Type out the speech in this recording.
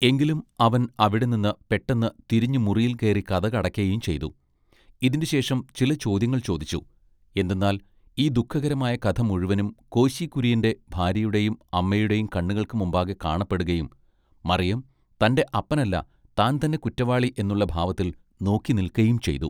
എങ്കിലും അവൻ അവിടെനിന്ന് പെട്ടെന്ന് തിരിഞ്ഞുമുറിയിൽ കേറി കതകടയ്ക്കയും ചെയ്തു ഇതിന്റെ ശേഷം ചില ചോദ്യങ്ങൾ ചോദിച്ചു എന്തെന്നാൽ ഈ ദുഃഖകരമായ കഥ മുഴുവനും കോശി കുര്യന്റെ ഭാര്യയുടെയും അമ്മയുടെയും കണ്ണുകൾക്ക് മുമ്പാകെ കാണപ്പെടുകയും മറിയം തന്റെ അപ്പനല്ല താൻ തന്നെ കുറ്റവാളി എന്നുള്ള ഭാവത്തിൽ നോക്കി നിൽക്കയും ചെയ്തു.